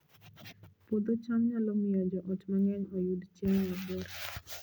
Puodho cham nyalo miyo joot mang'eny oyud chiemo maber